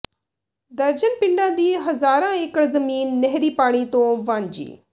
ਦਰਜਨ ਪਿੰਡਾਂ ਦੀ ਹਜ਼ਾਰਾਂ ਏਕੜ ਜ਼ਮੀਨ ਨਹਿਰੀ ਪਾਣੀ ਤੋਂ ਵਾਂਝੀ